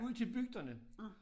Ud til bygderne